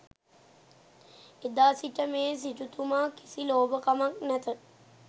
එදා සිට මේ සිටුතුමා කිසි ලෝභකමක් නැත